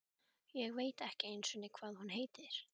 Ég veit ekki einusinni hvað hún heitir.